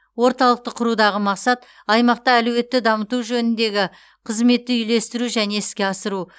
орталықты құрудағы мақсат аймақта әлеуетті дамыту жөніндегі қызметті үйлестіру және іске асыру